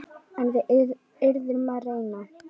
En við yrðum að reyna.